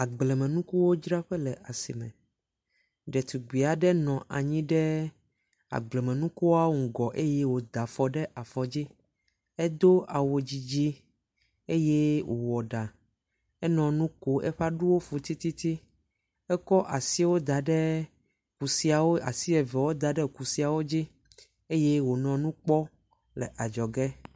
Agblemnukuwodraƒe le asime. Ɖetugbi aɖe nɔ anyi ɖe agblemnukuawo ŋgɔ eye woda afɔ ɖe afɔ dzi. Edo awu dzidzi eye wowɔ ɖa. Enɔ nu ko eƒe aɖuwo fu titi. Ekɔ asiwo da ɖa kusiawo asi evewo da ɖe kusiawo dzi eye wonɔ nu kpɔ le adzɔge.